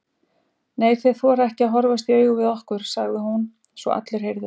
Nei, þeir þora ekki að horfast í augu við okkur, sagði hún svo allir heyrðu.